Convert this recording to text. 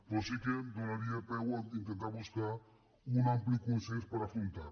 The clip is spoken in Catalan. però sí que donaria peu a intentar buscar un ampli consens per afrontar les